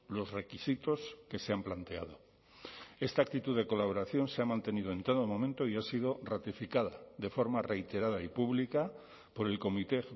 los requisitos que se han planteado esta actitud de colaboración se ha mantenido en todo momento y ha sido ratificada de forma reiterada y pública por el comité